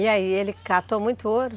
E aí ele catou muito ouro?